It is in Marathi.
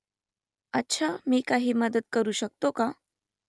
अच्छा मी काही मदत करू शकतो का ?